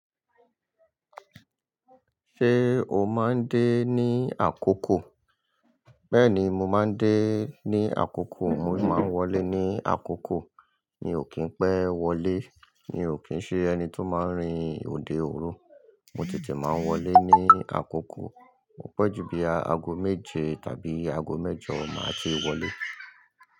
Ṣé o máa ń dé ní àkókò? Bẹ́ẹ̀ni mo máa ń dé ní àkókò, mo sì máa ń wọlé ní àkókò. Mi ò kín pẹ́ wọlé, mi ò kín ṣe ẹni tó máa ń rin òde òru. Mo tètè máa wọlé ní àkókò. Mọ pẹ́ ju bí aago méje tàbí aago mẹ́jọ máa tí wọlé.